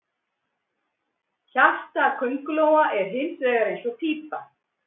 Hjarta köngulóa er hins vegar eins og pípa.